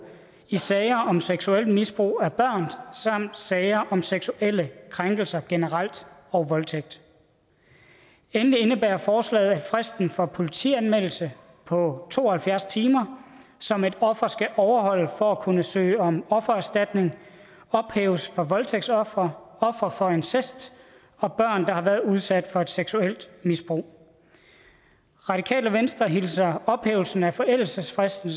i sager om seksuelt misbrug af børn samt sager om seksuelle krænkelser generelt og voldtægt endelig indebærer forslaget at fristen for politianmeldelse på to og halvfjerds timer som et offer skal overholde for at kunne søge om offererstatning ophæves for voldtægtsofre ofre for incest og børn der har været udsat for et seksuelt misbrug radikale venstre hilser ophævelsen af forældelsesfristen